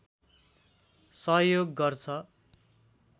सहयोग गर्छ